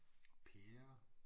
Pære